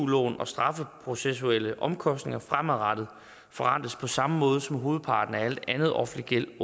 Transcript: lån og strafprocessuelle omkostninger fremadrettet forrentes på samme måde som hovedparten af al anden offentlig gæld